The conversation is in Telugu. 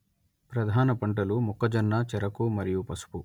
ప్రధాన పంటలు మొక్కజొన్న చెరకు మరియు పసుపు